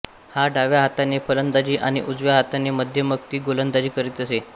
हा डाव्या हाताने फलंदाजी आणि उजव्या हाताने मध्यमगती गोलंदाजी करीत असे